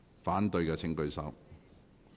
反對的請舉手。